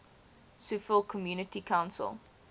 suffolk community council